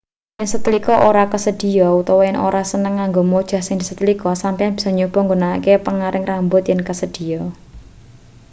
yen setlika ora kasedhiya utawa yen ora seneng nganggo mojah sing disetlika sampeyan bisa nyoba nggunakake panggaring rambut yen kasedhiya